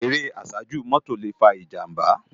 Éré àsájú mòtó lé fá ijàmbá